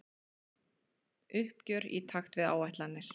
Uppgjör í takt við áætlanir